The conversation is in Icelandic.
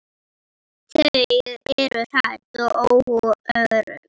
Þau eru hrædd og óörugg.